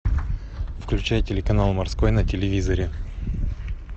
включай телеканал морской на телевизоре